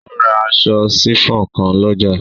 O ra aṣọ sifon kan lọ́jà.